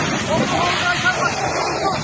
Qoyub buraxma, qaçsın burdan.